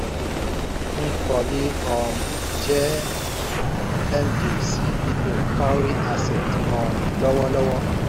nkoli um jẹ́ md ceo cowry asset um lọ́wọ́lọ́wọ́.